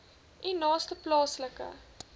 u naaste plaaslike